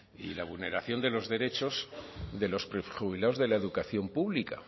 y la vulneración de los derechos de los prejubilados de la educación pública